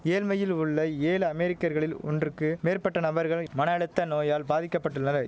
ஏழ்மையில் உள்ள ஏழு அமெரிக்கர்களில் ஒன்றுக்கு மேற்பட்ட நபர்கள் மன அழுத்த நோயால் பாதிக்க பட்டுள்ளதை